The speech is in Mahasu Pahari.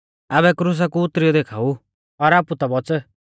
आबै क्रुसा कु उतरियौ देखाऊ और आपु ता बौच़